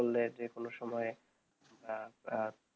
করলে যে কোনো সময়ে আহ আহ